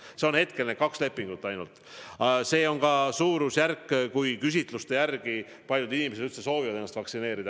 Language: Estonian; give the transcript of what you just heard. Hetkel on need kaks lepingut ainult ja see on küsitluste järgi ka suurusjärk, kui paljud inimesed üldse soovivad ennast vaktsineerida.